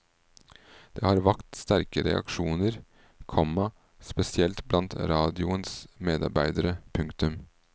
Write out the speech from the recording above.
Det har vakt sterke reaksjoner, komma spesielt blant radioens medarbeidere. punktum